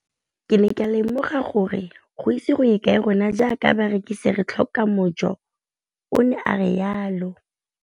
Ke ne ka lemoga gore go ise go ye kae rona jaaka barekise re tla tlhoka mojo, o ne a re jalo.